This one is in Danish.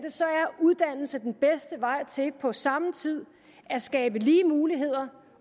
uddannelse den bedste vej til på samme tid at skabe lige muligheder